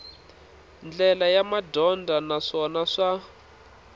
ndlela ya madyondza naswona swa